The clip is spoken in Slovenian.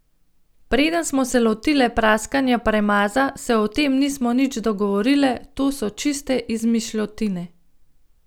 Preden smo se lotile praskanja premaza, se o tem nismo nič dogovorile, to so čiste izmišljotine.